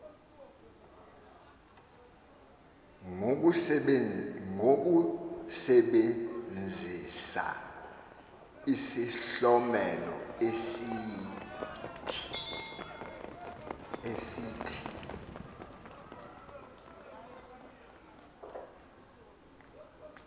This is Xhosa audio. ngokusebenzisa isihlomelo esithi